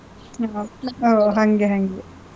ಹ್ಮ್. ಓಹ್ ಹಂಗೆ ಹಂಗೆ.